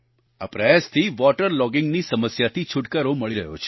આ પ્રયાસથી water logging ની સમસ્યાથી છૂટકારો મળી રહ્યો છે